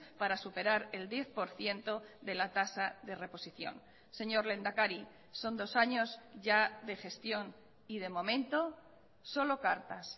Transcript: para superar el diez por ciento de la tasa de reposición señor lehendakari son dos años ya de gestión y de momento solo cartas